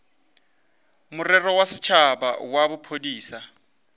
morero wa setšhaba wa bophodisa